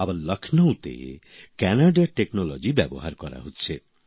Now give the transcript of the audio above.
আবার লখনৌতে কানাডার প্রযুক্তি ব্যবহার করা হচ্ছে